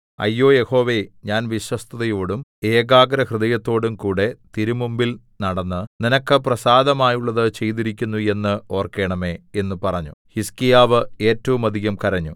അയ്യോ യഹോവേ ഞാൻ വിശ്വസ്തതയോടും ഏകാഗ്രഹൃദയത്തോടുംകൂടെ തിരുമുമ്പിൽ നടന്ന് നിനക്ക് പ്രസാദമുള്ളത് ചെയ്തിരിക്കുന്നു എന്ന് ഓർക്കേണമേ എന്ന് പറഞ്ഞു ഹിസ്കീയാവ് ഏറ്റവും അധികം കരഞ്ഞു